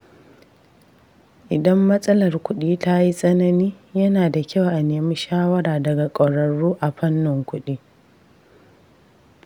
Idan matsalar kuɗi ta yi tsanani, yana da kyau a nemi shawara daga ƙwararru a fannin kuɗi.